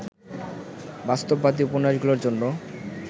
বাস্তববাদী উপন্যাসগুলোর জন্য